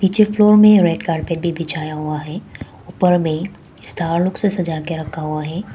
नीचे फ्लोर में red carpet बिछाया गया है ऊपर में स्टार लोग से सजा कर रखा गया है।